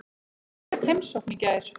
Ég fékk heimsókn í gær.